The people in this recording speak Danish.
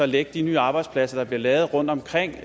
lægge de nye arbejdspladser der bliver lavet rundtomkring